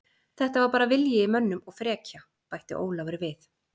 Þetta var bara vilji í mönnum og frekja, bætti Ólafur við.